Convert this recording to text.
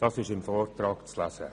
Das ist im Vortrag zu lesen.